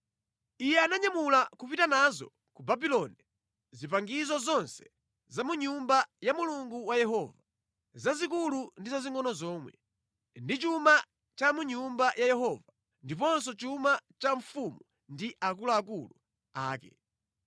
Iye ananyamula kupita nazo ku Babuloni zipangizo zonse za mʼNyumba ya Yehova Mulungu wawo, zazikulu ndi zazingʼono zomwe, ndi chuma cha mʼNyumba ya Yehova ndiponso chuma cha mfumu ndi akuluakulu ake.